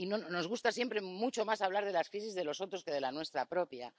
Nos gusta siempre mucho más hablar de las crisis de los otros que de la nuestra propia.